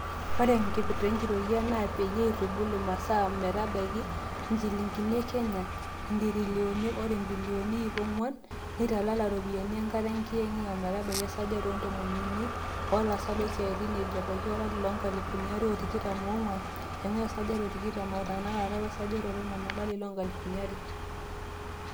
Ore enkipirta enkitoria naa peyie eitubulu masaa metabaiki injilingini e Kenya intirilioni are o bilioni iip o nguan neitalala iropiyiani enkata enkiyengiyeng ometabaiki esajati o ntomon uni o laasak loosiatin ejo abaiki olari loonkalifuni are o tikitam o nguan eingua esajati e tikitam are tenakata wesajati e tomon to lari loonkalifuni are.